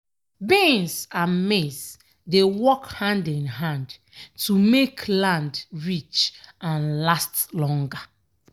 beans and maize dey work hand in hand to make land rich and last longer.